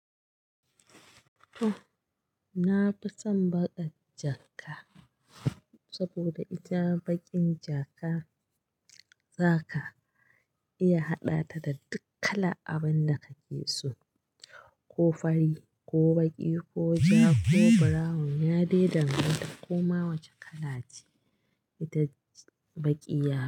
To, na fi son baƙar jaka saboda ita baƙin jaka Zaka iya haɗa ta da duk kala abin da kake so, ko fari, ko baƙi, ko ja, ko brown, ya dai danganta koma wace kala ce ita Baƙi ya yi.